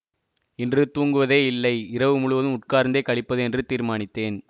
இன்று தூங்குவதே இல்லை இரவு முழுவதும் உட்கார்ந்தே கழிப்பது என்று தீர்மானித்தேன்